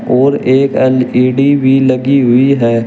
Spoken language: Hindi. और एक एल_इ_डी भी लगी हुई है।